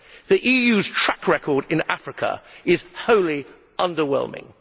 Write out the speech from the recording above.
The EU's track record in Africa is wholly underwhelming.